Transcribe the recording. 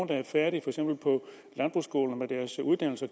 der er færdige med deres uddannelse